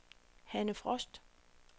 Hanne Frost